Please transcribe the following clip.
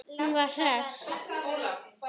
Hún var hress.